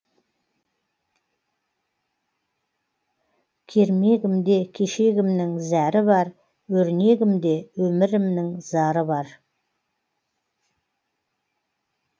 кермегімде кешегімнің зәрі бар өрнегімде өмірімнің зары бар